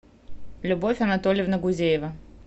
любовь анатольевна гузеева